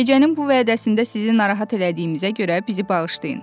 Gecənin bu vədəsində sizi narahat elədiyimizə görə bizi bağışlayın.